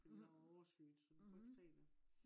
fordi der var overskyet så vi kunne ikke se det